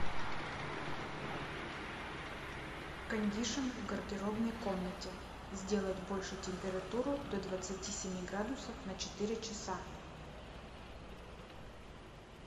кондишн в гардеробной комнате сделать больше температуру до двадцати семи градусов на четыре часа